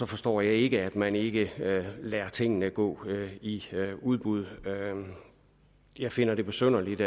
forstår jeg ikke at man ikke lader tingene gå i udbud jeg finder det besynderligt